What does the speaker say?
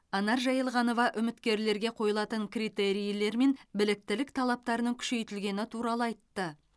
анар жайылғанова үміткерлерге қойылатын критерийлер мен біліктілік талаптарының күшейтілгені туралы айтты